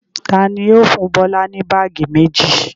Ta ni yóò fún Bọ́lá ní báágì méjì?